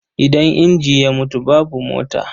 Idan inji ya mutu, babu mota.